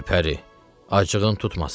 Gülpəri, acığın tutmasın.